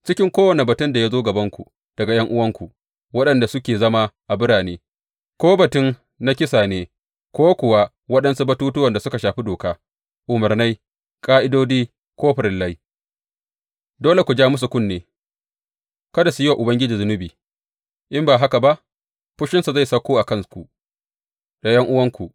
Cikin kowane batun da ya zo gabanku daga ’yan’uwanku waɗanda suke zama a birane, ko batun na kisa ne ko kuwa waɗansu batuttuwan da suka shafi doka, umarnai, ƙa’idodi ko farillai, dole ku ja musu kunne kada su yi wa Ubangiji zunubi; in ba haka ba fushinsa zai sauko a kanku da ’yan’uwanku.